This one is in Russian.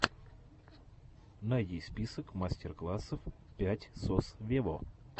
найди список мастер классов пять сос вево